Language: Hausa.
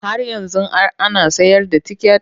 Har yanzu an ana sayar da ticket?